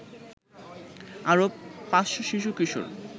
আরো ৫০০ শিশু-কিশোর